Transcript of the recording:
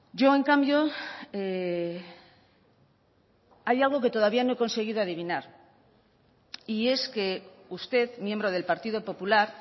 yo en cambio hay algo que todavía no he conseguido adivinar y es que usted miembro del partido popular